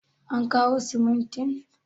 an kawo simuntin?